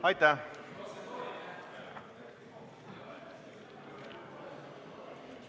Aitäh!